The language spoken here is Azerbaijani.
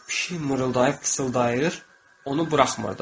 Pişik mırıldayıb pıçıldayır, onu buraxmırdı.